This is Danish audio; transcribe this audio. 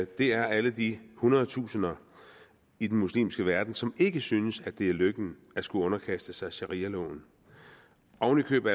det er alle de hundredtusinder i den muslimske verden som ikke synes at det er lykken at skulle underkaste sig sharialoven og nu